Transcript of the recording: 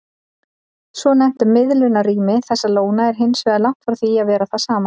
Svonefnt miðlunarrými þessara lóna er hins vegar langt frá því að vera það sama.